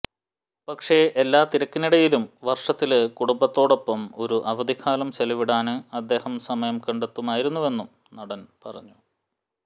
പക്ഷേ എല്ലാ തിരക്കിനിടയിലും വര്ഷത്തില് കുടുംബത്തോടൊപ്പം ഒരു അവധിക്കാലം ചെലവിടാന് അദ്ദേഹം സമയം കണ്ടെത്തുമായിരുന്നുവെന്നും നടന് പറഞ്ഞു